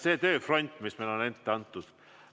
See tööfront, mis meile on ette antud.